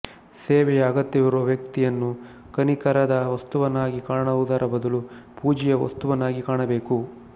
ಸೇವೆಯ ಅಗತ್ಯವಿರುವ ವ್ಯಕ್ತಿಯನ್ನು ಕನಿಕರದ ವಸ್ತುವನ್ನಾಗಿ ಕಾಣುವುದರ ಬದಲು ಪೂಜೆಯ ವಸ್ತುವನ್ನಾಗಿ ಕಾಣಬೇಕು